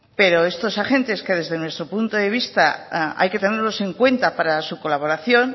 pero estos agentes que desde nuestro punto de vista hay que tenerlos en cuenta para su colaboración